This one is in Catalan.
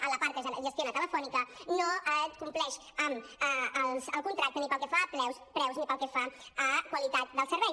en la part que gestiona telefónica no compleix el contracte ni pel que fa a preus ni pel que fa a qualitat del servei